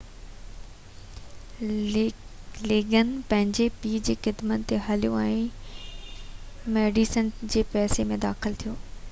ليگن پنهنجي پيءُ جي قدمن تي هليو ۽ ميڊيسن جي پيشي ۾ داخل ٿيو